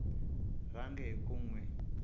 rhange hi ku n wi